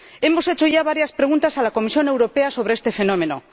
Hemos hecho ya varias preguntas a la Comisión Europea sobre este fenómeno.